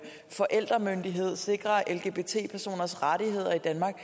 forældremyndighed sikre lgbt personers rettigheder i danmark